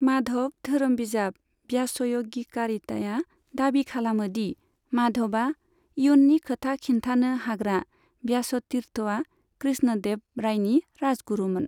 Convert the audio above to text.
माधव धोरोम बिजाब व्यासय'गिकारिताया दाबि खालामो दि माधवा इयुन्नि खोथा खिन्थानो हाग्रा व्यासतीर्थआ कृष्ण देव रायनि राजगुरुमोन।